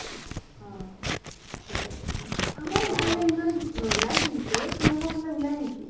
অ । আমাৰ ইফালে ইমান নোলাই কিন্তু । তোমালোকৰ ফালে ওলাই নেকি ?